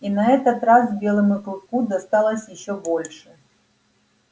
и на этот раз белому клыку досталось ещё больше